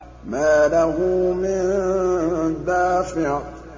مَّا لَهُ مِن دَافِعٍ